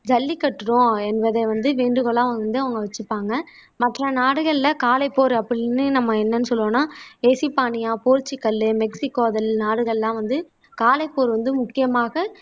ஜல்லிகட்டுறோம் என்பதை வந்து வேண்டுகோளா வந்து அவங்க வச்சிப்பாங்க மற்ற நாடுகள்ல காளை போர் அப்படின்னு நம்ம என்னனு சொல்வோம்னா போர்சுகல் மெக்ஸிகோ நாடுகள்லாம் வந்து காளை போர் வந்து முக்கியமாக